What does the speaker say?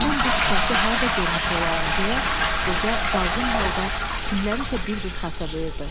Mən bu sifəti harda görmüş olaram deyə qoca dalğın halda kimlərisə bir-bir xatırlayırdı.